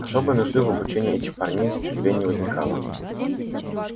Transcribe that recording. особой нужды в обучении этих парней стрельбе не возникало